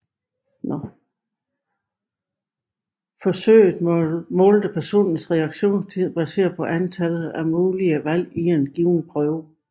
Forsøget målte personens reaktionstid baseret på antallet af mulige valg i en given prøve